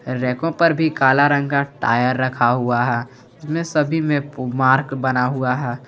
रैंकों पर भी काला रंग का टायर रखा हुआ है जिसमें सभी में मार्क बना हुआ है।